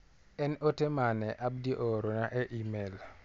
En ote mane Abdi oorona e imel.